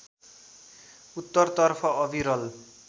उत्तरतर्फ अविरल